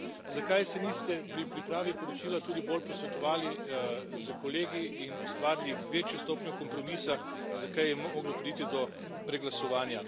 Zakaj se niste pri pripravi poročila tudi bolj posvetovali s kolegi in ustvarili večjo stopnjo kompromisa, zakaj je moglo priti do preglasovanja?